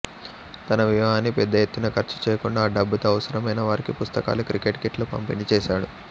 తన వివాహాన్ని పెద్ద ఎత్తున ఖర్చు చేయకుండా ఆ డబ్బుతో అవసరమైన వారికి పుస్తకాలు క్రికెట్ కిట్లు పంపిణీ చేశాడు